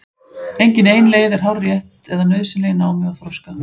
Engin ein leið er hárrétt eða nauðsynleg í námi og þroska.